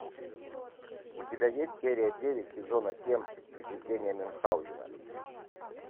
у тебя есть серия девять сезона семь приключения мюнхаузена